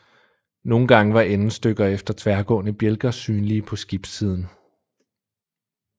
Nogen gange var endestykker efter tværgående bjælker synlige på skibssiden